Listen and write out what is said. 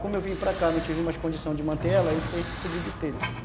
Como eu vim para cá, não tive mais condição de manter ela, aí tive que cobrir de telha.